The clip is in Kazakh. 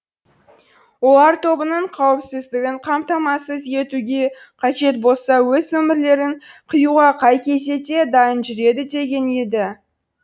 олар тобының қауіпсіздігін қамтамасыз етуге қажет болса өз өмірлерін қиюға қай кезде де дайын жүреді деген еді